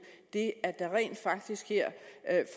det at der rent faktisk